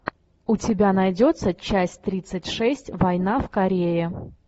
у тебя найдется часть тридцать шесть война в корее